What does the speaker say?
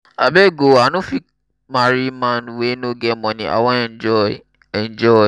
abeg oo i no fit marry man wey no get money i wan enjoy. enjoy.